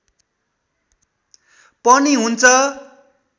पनि हुन्छ